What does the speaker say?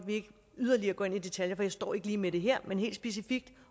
yderligere ind i detaljer for jeg står ikke lige med det her men helt specifikt